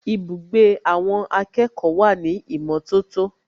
Ibùgbé àwọn akẹ́kọ̀ọ́ wà ní ìmọ̀tótó